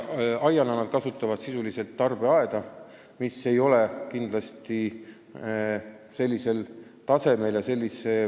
Aiana nad kasutavad sisuliselt tarbeaeda, mille valveefektiivsus ei ole kindlasti kõrgel tasemel.